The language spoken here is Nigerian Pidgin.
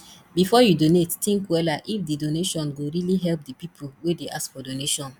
before you donate think wella if di donation go really help di pipo wey dey ask for donation